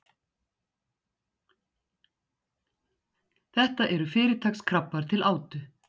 Þetta eru fyrirtaks krabbar til átu.